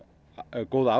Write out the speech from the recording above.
góða